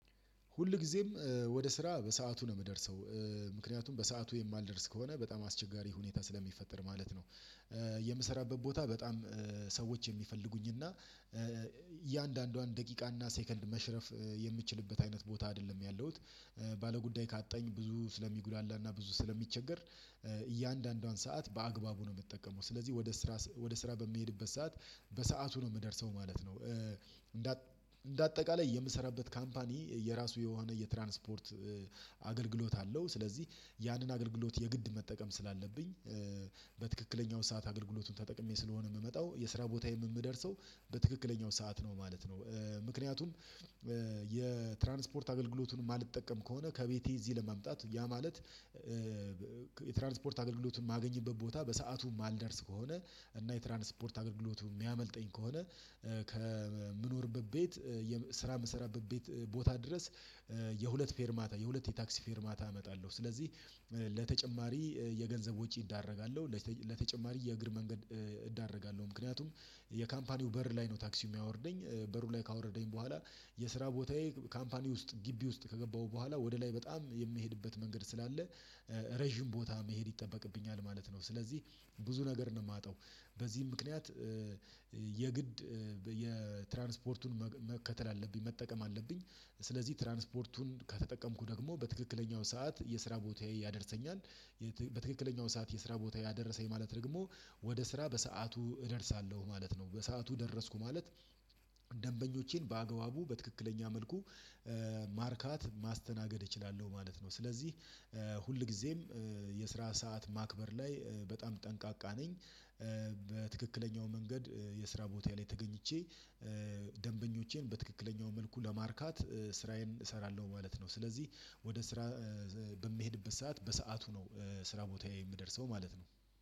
ሁልጊዜም ወደ ስራ በሰአቱ ነው የምደርሰው። ምክንያቱም በሰአቱ የማልደርስ ከሆነ በጣም አስቸጋሪ ሁኔታ ስለሚፈጠር ማለት ነው። የምሰራበት ቦታ በጣም ሰዎች የሚፈልጉኝ እና እያንዳንዷን ደቂቃና ሴከንድ መሽረፍ የምችልበት አይነት ቦታ አይደለም ያለሁት። ባለጉዳይ ካጣኝ ብዙ ስለሚጉዳላና ብዙ ስለሚቸገር እያንዳንዷን ሰዓት በአግባቡ ነው የምትጠቀመው ስለዚህ ወደ ስራ ወደ ስራ በሚሄድበት ሰዓት በሰአቱ ነው የምደርሰው። ማለት ነው። እንደ እንደ አጠቃላይ የምሰራበት ካምፓኒ የራሱ የሆነ የትራንስፖርት አገልግሎት አለው። ስለዚህ ያንን አገልግሎት የግድ መጠቀም ስላለብኝ። በትክክለኛው ሰዓት አገልግሎቱን ተጠቅሜ ስለሆነ የምመጣው የስራ ቦታ የምደርሰው በትክክለኛው ሰዓት ነው ማለት ነው። ምክንያቱም የትራንስፖርት አገልግሎቱን የማልጠቀም ከሆነ ከቤቴ እዚህ ለማምጣት ያ ማለት የትራንስፖርት አገልግሎትን የማገኝበት ቦታ በሰአቱ የማልደርስ ከሆነ እና የትራንስፖርት አገልግሎትን የሚያመልጠኝ ከሆነ። ከምኖርበት ቤት የስራ ምሰራበት ቤት ቦታ ድረስ የሁለት ፌርማታ የሁለት የታክሲ ፌርማታ አመጣለሁ። ስለዚህ ለተጨማሪ የገንዘብ ወጪ እዳረጋለሁ ለተጨማሪ የእግር መንገድ እዳረጋለሁ። ምክንያቱም የካምፓኒው በር ላይ ነው ታክሲ የሚያወርደኝ በሩ ላይ ካወረደኝ በኋላ የስራ ቦታዬ ካምፓኒ ውስጥ ግቢ ውስጥ ከገባሁ በኋላ ወደ ላይ በጣም የምሄድበት መንገድ ስላለ ረጅም ቦታ መሄድ ይጠበቅብኛል ማለት ነው። ስለዚህ ብዙ ነገር ነው የማጣው በዚህም ምክንያት የትራንስፖርቱን መከተል አለብኝ መጠቀም አለብኝ። ስለዚህ ትራንስፖርቱን ከተጠቀምኩ ደግሞ በትክክለኛው ሰዓት የስራ ቦታዬ ያደርሰኛል። በትክክለኛው ሰዓት የስራ ቦታዬ ያደረሰኝ ማለት ደግሞ ወደ ስራ በሰአቱ እደርሳለሁ ማለት ነው። በሰአቱ ደረስኩ ማለት ደንበኞቼን በአግባቡ በትክክለኛ መልኩ ማርካት ማስተናገድ እችላለሁ ማለት ነው። ስለዚህ ሁልጊዜም የስራ ሰዓት ማክበር ላይ በጣም ጠንቃቃ ነኝ። በትክክለኛው መንገድ የስራ ቦታ ላይ ተገኝቼ ደንበኞቼን በትክክለኛው መልኩ ለማርካት ስራዬን እሰራለሁ ማለት ነው። ስለዚህ ወደ ስራ በምሄድበት ሰዓት በሰአቱ ነው ስራ ቦታዬ የምደርሰው ማለት ነው